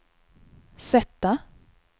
sätta